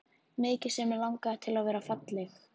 Mikið sem mig langaði til að vera falleg.